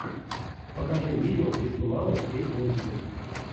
покажи видео где снималась кейт уинслет